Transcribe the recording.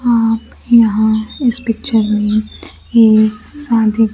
आप यहां इस पिक्चर में एक शादी--